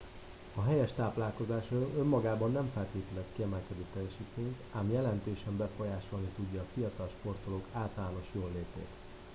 a helyes táplálkozás önmagában nem feltételez kiemelkedő teljesítményt ám jelentősen befolyásolni tudja a fiatal sportolók általános jóllétét